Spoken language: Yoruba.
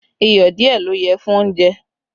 Iyọ̀ díẹ̀ ló yẹ fún oúnjẹ